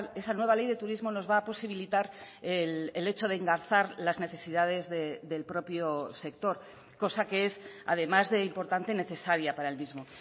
esa nueva ley de turismo nos va a posibilitar el hecho de engarzar las necesidades del propio sector cosa que es además de importante necesaria para el mismo